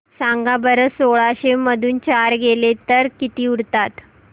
सांगा बरं सोळाशे मधून चार गेले तर किती उरतात